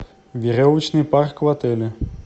веревочный парк в отеле